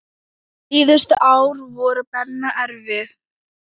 Síðustu ár voru Benna erfið.